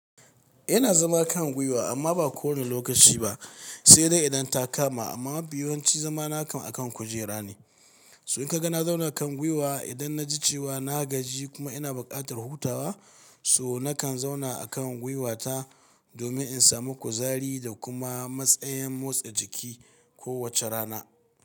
Ina zama kan gwiwa amma ba kowane lokaci ba, sai dai idan ta kama amma mafi yawanci zamana kam a kan kujera ne. So in ka ga na zauna kan gwiwa idan na ji cewa na gaji kuma ina buƙatar hutawa so na kan zauna a kan gwiwa ta domin in samu kuzari da kuma matsayen motsa jiki kowace rana.